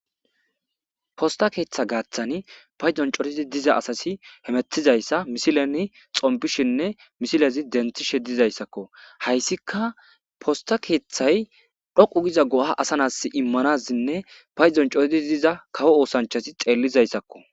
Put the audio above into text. Posta keeththa gaaththani payzon cotedi diza asasi hemetizayssa misileni xompishinne misilezi denthishe dizayssakko hayssika posta keeththay dhoqu giza go7a asanas immanasinne payzon cototi diza kawo oosanchasi xeellizayssakko.